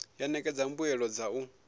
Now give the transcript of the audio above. ya ṋekedza mbuelo dza u